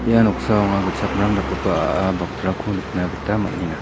ia noksao anga gitchakmrang dakgipa a·a bakrako nikna gita man·enga.